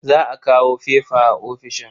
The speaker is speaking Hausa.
Za a kawo fefa a ofishin.